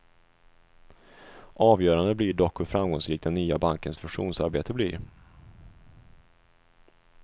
Avgörande blir dock hur framgångsrik den nya bankens fusionsarbete blir.